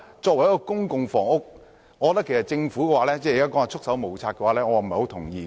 對於公共房屋相關問題，政府現時表示"束手無策"，我不太同意。